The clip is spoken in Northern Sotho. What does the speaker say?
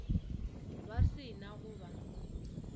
ba se na go ba